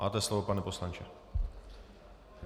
Máte slovo, pane poslanče.